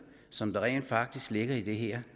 som rent faktisk ligger i det her